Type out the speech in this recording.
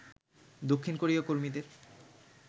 দক্ষিণ কোরীয় কর্মীদের